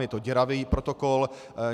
Je to děravý protokol.